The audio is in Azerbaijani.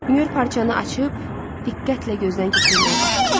Müür parçanı açıb, diqqətlə gözdən keçirməyə başladı.